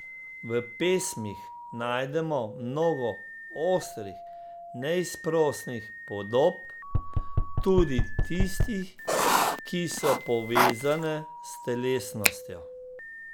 V pesmih najdemo mnogo ostrih, neizprosnih podob, tudi tistih, ki so povezane s telesnostjo.